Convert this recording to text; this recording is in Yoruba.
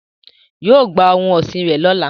yóò gba ohun ọsin rẹ lọla